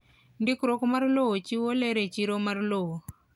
Ndikruok mar lowo chiwo ler e chiro mar lowo.